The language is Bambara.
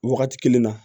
Wagati kelen na